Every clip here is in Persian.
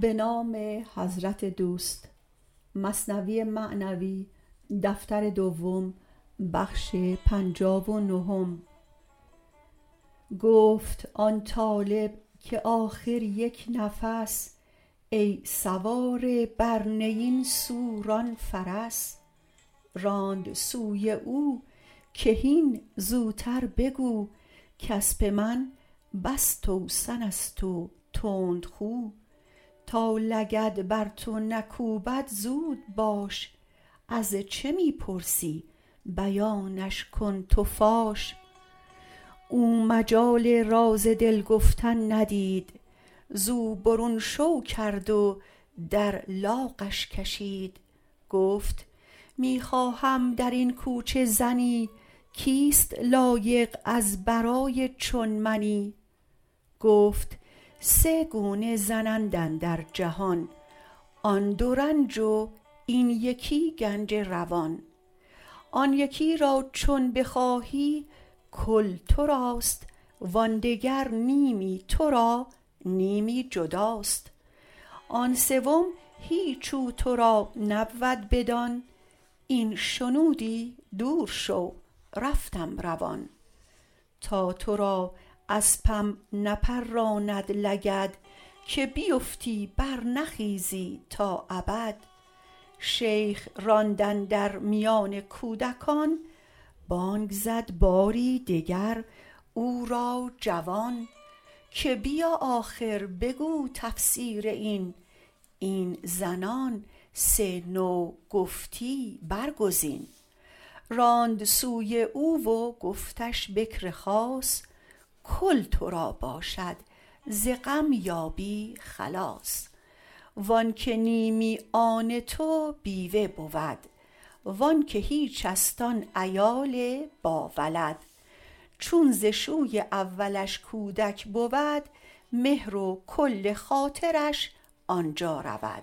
گفت آن طالب که آخر یک نفس ای سواره بر نی این سو ران فرس راند سوی او که هین زوتر بگو کاسپ من بس توسن ست و تندخو تا لگد بر تو نکوبد زود باش از چه می پرسی بیانش کن تو فاش او مجال راز دل گفتن ندید زو برون شو کرد و در لاغش کشید گفت می خواهم درین کوچه زنی کیست لایق از برای چون منی گفت سه گونه زن اند اندر جهان آن دو رنج و این یکی گنج روان آن یکی را چون بخواهی کل تراست وآن دگر نیمی ترا نیمی جداست وآن سیم هیچ او ترا نبود بدان این شنودی دور شو رفتم روان تا ترا اسپم نپراند لگد که بیفتی بر نخیزی تا ابد شیخ راند اندر میان کودکان بانگ زد بار دگر او را جوان که بیا آخر بگو تفسیر این این زنان سه نوع گفتی بر گزین راند سوی او و گفتش بکر خاص کل ترا باشد ز غم یابی خلاص وانک نیمی آن تو بیوه بود وانک هیچ ست آن عیال با ولد چون ز شوی اولش کودک بود مهر و کل خاطرش آن سو رود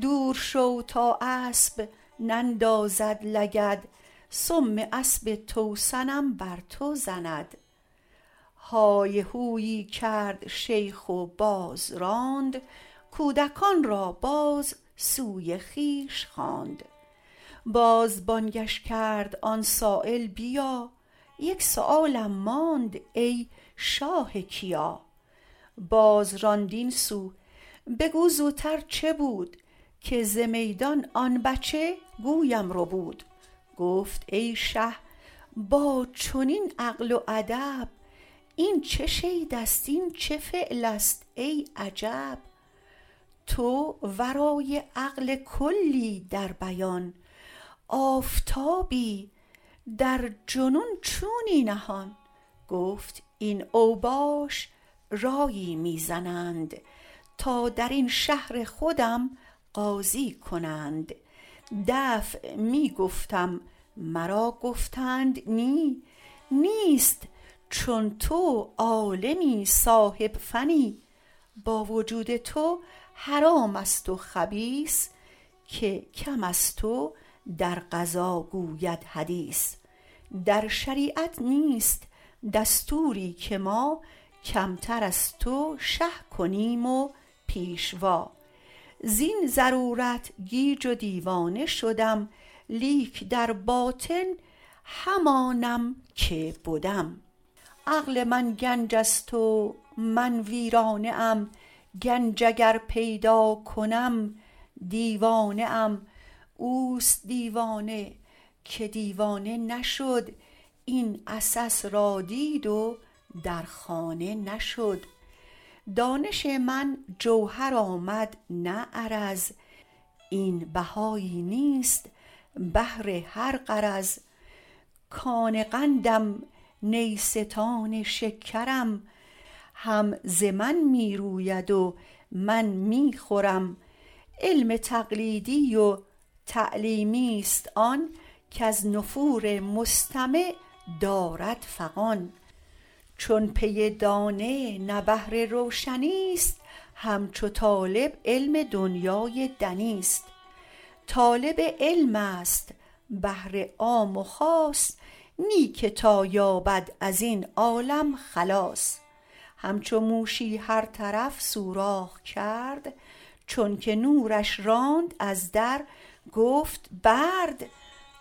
دور شو تا اسپ نندازد لگد سم اسپ توسنم بر تو رسد های هویی کرد شیخ باز راند کودکان را باز سوی خویش خواند باز بانگش کرد آن سایل بیا یک سؤالم ماند ای شاه کیا باز راند این سو بگو زوتر چه بود که ز میدان آن بچه گویم ربود گفت ای شه با چنین عقل و ادب این چه شیدست این چه فعلست ای عجب تو ورای عقل کلی در بیان آفتابی در جنون چونی نهان گفت این اوباش رایی می زنند تا درین شهر خودم قاضی کنند دفع می گفتم مرا گفتند نی نیست چون تو عالمی صاحب فنی با وجود تو حرام است و خبیث که کم از تو در قضا گوید حدیث در شریعت نیست دستوری که ما کمتر از تو شه کنیم و پیشوا زین ضرورت گیج و دیوانه شدم لیک در باطن همانم که بدم عقل من گنج ست و من ویرانه ام گنج اگر پیدا کنم دیوانه ام اوست دیوانه که دیوانه نشد این عسس را دید و در خانه نشد دانش من جوهر آمد نه عرض این بهایی نیست بهر هر غرض کان قندم نیستان شکرم هم ز من می روید و من می خورم علم تقلیدی و تعلیمی ست آن کز نفور مستمع دارد فغان چون پی دانه نه بهر روشنی ست همچو طالب علم دنیای دنی ست طالب علم است بهر عام و خاص نه که تا یابد ازین عالم خلاص همچو موشی هر طرف سوراخ کرد چونک نورش راند از در گفت برد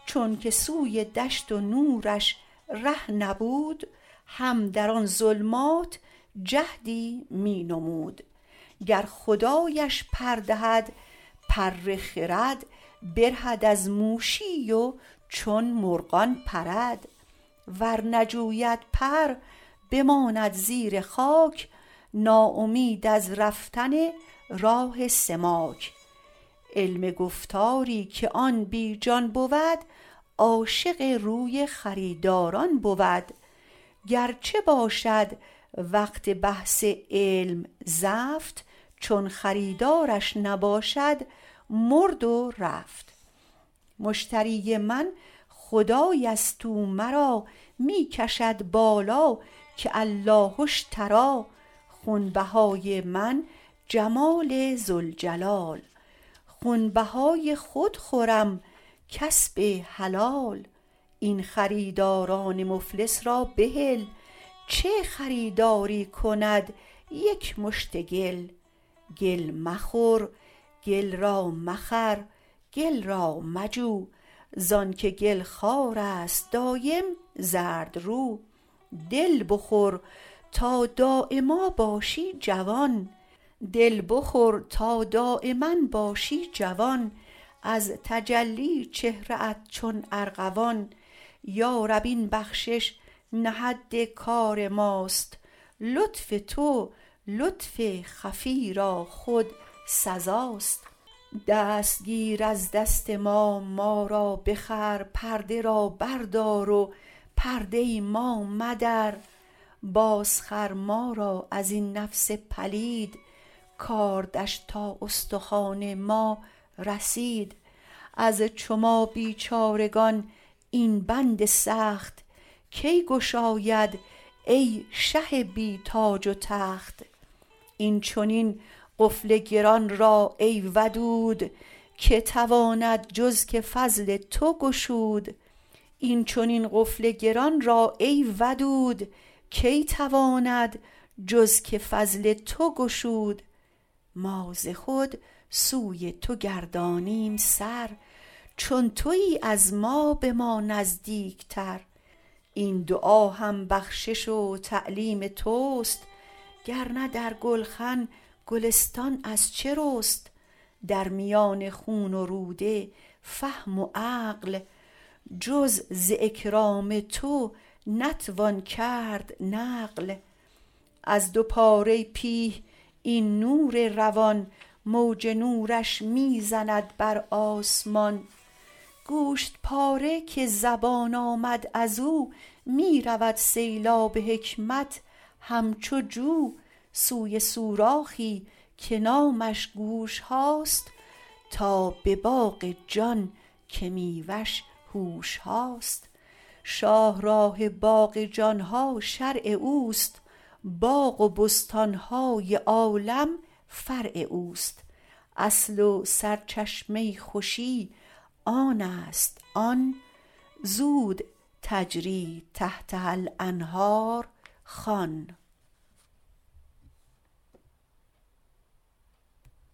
چونک سوی دشت و نورش ره نبود هم در آن ظلمات جهدی می نمود گر خدایش پر دهد پر خرد برهد از موشی و چون مرغان پرد ور نجوید پر بماند زیر خاک ناامید از رفتن راه سماک علم گفتاری که آن بی جان بود عاشق روی خریداران بود گرچه باشد وقت بحث علم زفت چون خریدارش نباشد مرد و رفت مشتری من خدایست او مرا می کشد بالا که الله اشتری خون بهای من جمال ذوالجلال خون بهای خود خورم کسب حلال این خریداران مفلس را بهل چه خریداری کند یک مشت گل گل مخور گل را مخر گل را مجو زانک گل خوار است دایم زردرو دل بخور تا دایما باشی جوان از تجلی چهره ات چون ارغوان یا رب این بخشش نه حد کار ماست لطف تو لطف خفی را خود سزاست دست گیر از دست ما ما را بخر پرده را بر دار و پرده ما مدر باز خر ما را ازین نفس پلید کاردش تا استخوان ما رسید از چو ما بیچارگان این بند سخت کی گشاید ای شه بی تاج و تخت این چنین قفل گران را ای ودود کی تواند جز که فضل تو گشود ما ز خود سوی تو گردانیم سر چون توی از ما به ما نزدیکتر این دعا هم بخشش و تعلیم تست گرنه در گلخن گلستان از چه رست در میان خون و روده فهم و عقل جز ز اکرام تو نتوان کرد نقل از دو پاره پیه این نور روان موج نورش می زند بر آسمان گوشت پاره که زبان آمد ازو می رود سیلاب حکمت همچو جو سوی سوراخی که نامش گوش هاست تا به باغ جان که میوه ش هوش هاست شاه راه باغ جان ها شرع اوست باغ و بستان های عالم فرع اوست اصل و سرچشمه خوشی آنست آن زود تجری تحتها الانهار خوان